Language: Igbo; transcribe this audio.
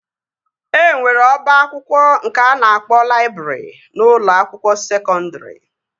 E nwere ọba akwụkwọ nke a na-akpọ laịbrị n'ụlọ akwụkwọ sekọndri